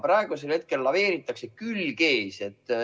Praegusel hetkel laveeritakse, külg ees.